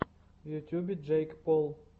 в ютубе джейк пол